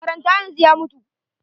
Karan ta yanzu ya mutu.